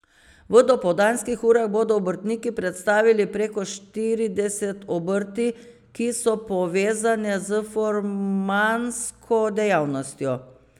V dopoldanskih urah bodo obrtniki predstavili preko štirideset obrti, ki so povezane s furmansko dejavnostjo.